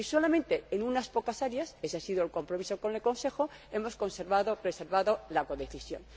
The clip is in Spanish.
Solamente en unas pocas áreas ese ha sido el compromiso con el Consejo hemos conservado y preservado la codecisión.